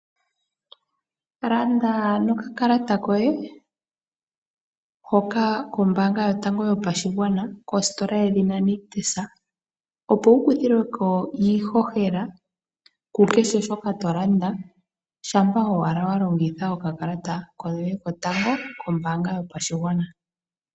Landa nokakalata koye hoka kombaanga yotango yopashigwana kositola yedhina Nictus. Opo wu kuthilwe ko iihohela ku kehe shoka to landa, shampa owala wa longitha okakalata koye kotango kombaanga yotango yopashigwana.